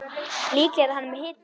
Líklega er hann með hita.